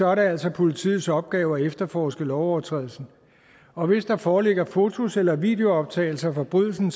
er det altså politiets opgave at efterforske lovovertrædelsen og hvis der foreligger fotos eller videooptagelser af forbrydelsen